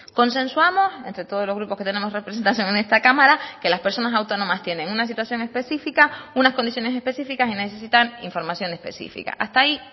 consensuamos entre todos los grupos que tenemos representación en esta cámara que las personas autónomas tienen una situación específica unas condiciones específicas y necesitan información específica hasta ahí